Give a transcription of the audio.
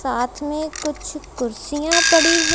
साथ में कुछ कुर्सियां पड़ी है।